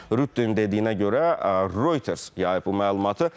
Rüttənin dediyinə görə, Reuters yayıb bu məlumatı.